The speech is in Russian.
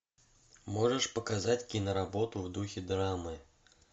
можешь показать киноработу в духе драмы